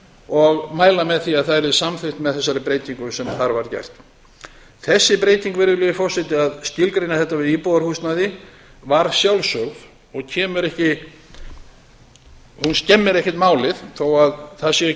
og mæla með því að það yrði samþykkt með þessari breytingu sem þar var gerð þessi breyting virðulegi forseti að skilgreina þetta við íbúðarhúsnæði var sjálfsögð og kemur ekki hún skemmir ekkert málið þó að það séu ekki